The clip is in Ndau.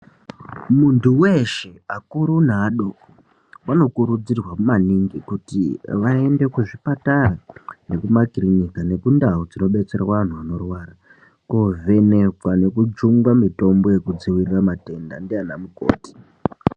Muntu weshe akuru neadoko vanokurudzirwa maningi kuti vaende kuzvipatara nekumakirinika nekundau dzinobetserwa antu anorwara kovhenekwa nekujungwa mitombo inodzivirira matenda ndiana mukoti.